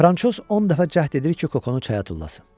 Fransoz on dəfə cəhd edir ki, Kokonu çaya tullasın.